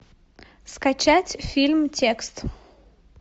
скачать фильм текст